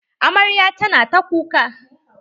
Amaryar tana ta kuka.